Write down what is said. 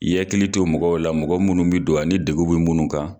I ye hakili to mɔgɔw la mɔgɔ munnu bi don, ani degun be munnu kan